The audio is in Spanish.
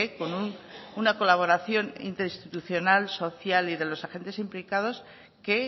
con una colaboración interinstitucional social y de los agentes implicados que